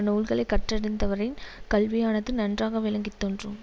நூல்களை கற்றறிந்தவரின் கல்வியானது நன்றாக விளங்கித் தொன்றும்